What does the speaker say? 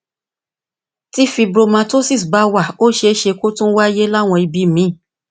tí fibromatosis bá wà ó ṣeé ṣe kí ó tún wáyé ní àwọn ibi míì